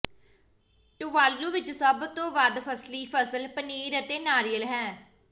Tuvalu ਵਿਚ ਸਭ ਤੋਂ ਵੱਧ ਫਸਲੀ ਫਸਲ ਪਨੀਰ ਅਤੇ ਨਾਰੀਅਲ ਹੈ